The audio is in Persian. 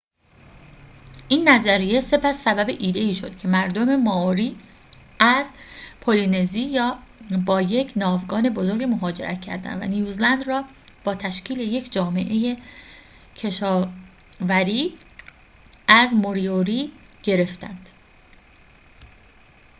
این نظریه سپس سبب ایده‌ای شد که مردم مائوری از پلی‌نزی با یک ناوگان بزرگ مهاجرت کردند و نیوزلند را با تشکیل یک جامعه کشاوری از موریوری گرفتند